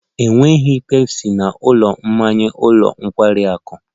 Enweghị Pepsi na ụlọ mmanya ụlọ nkwari akụ